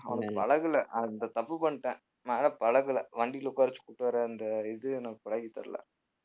அவனுக்கு பழகுல அந்த தப்பு பண்ணிட்டேன் நான் பழகுல வண்டியில உட்கார வச்சு கூட்டிட்டு வர்ற அந்த இது எனக்கு பழகித்தெரில